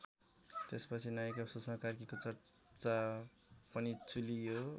त्यसपछि नायिका सुष्मा कार्कीको चर्चा पनि चुलियो।